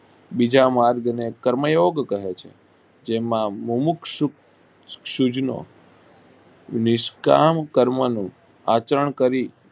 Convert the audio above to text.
બીજા માર્ગ ને કર્મ યોગ કહે છે જેમાં બમુક સુખ શીખનો નિસ્કન કર્મનું આચરણ કરી.